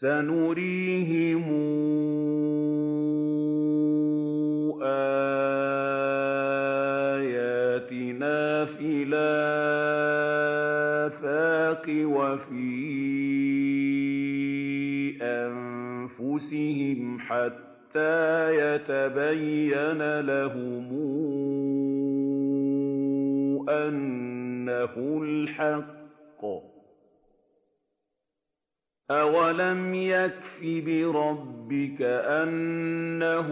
سَنُرِيهِمْ آيَاتِنَا فِي الْآفَاقِ وَفِي أَنفُسِهِمْ حَتَّىٰ يَتَبَيَّنَ لَهُمْ أَنَّهُ الْحَقُّ ۗ أَوَلَمْ يَكْفِ بِرَبِّكَ أَنَّهُ